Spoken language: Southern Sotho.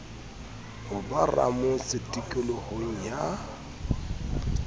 ho ba ramotse tikolohong ya